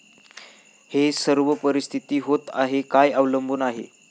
हे सर्व परिस्थिती होत आहे काय अवलंबून आहे.